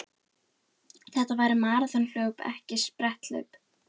Þetta væri maraþonhlaup en ekki spretthlaup